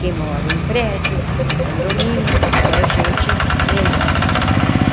Quem mora em prédio, em condomínio, já é gente melhor.